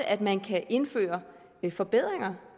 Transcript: at man kan indføre forbedringer